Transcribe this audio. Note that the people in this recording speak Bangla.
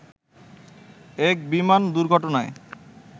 এক বিমান দুর্ঘটনায়